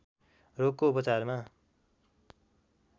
रोगको उपचारमा